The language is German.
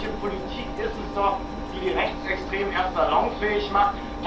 Eine solche Politik ist es doch, die die Rechtsextremen erst salonfähig macht!